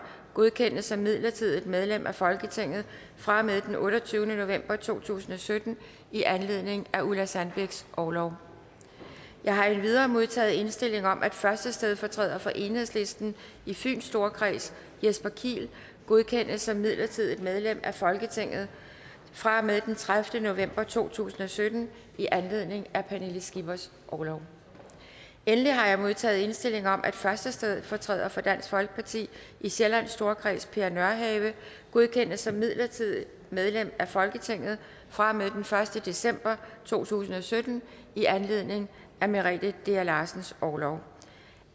godkendes som midlertidigt medlem af folketinget fra og med den otteogtyvende november to tusind og sytten i anledning af ulla sandbæks orlov jeg har endvidere modtaget indstilling om at første stedfortræder for enhedslisten i fyns storkreds jesper kiel godkendes som midlertidigt medlem af folketinget fra og med den tredivete november to tusind og sytten i anledning af pernille skippers orlov endelig har jeg modtaget indstilling om at første stedfortræder for dansk folkeparti i sjællands storkreds per nørhave godkendes som midlertidigt medlem af folketinget fra og med den første december to tusind og sytten i anledning af merete dea larsens orlov